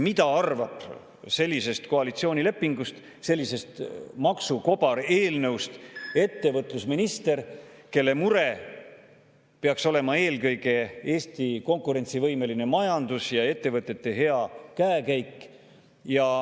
Mida arvab sellisest koalitsioonilepingust, sellisest maksukobareelnõust minister, kelle mure peaks olema eelkõige Eesti konkurentsivõimeline majandus ja ettevõtete hea käekäik?